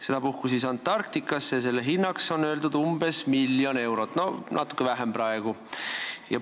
Sedapuhku minnakse Antarktikasse ja selle hinnaks on öeldud umbes miljon eurot, esialgu natuke vähem.